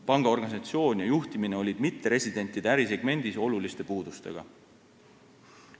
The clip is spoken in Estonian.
Panga organisatsioon ja juhtimine olid mitteresidentide ärisegmendis oluliste puudustega.